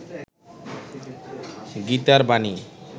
গীতার বাণী